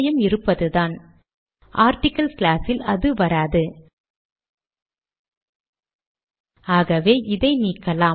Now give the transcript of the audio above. bullets எண்களாக மாறியுள்ளதை காணலாம்